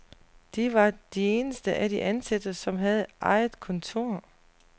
De var de eneste af de ansatte, som havde eget kontor.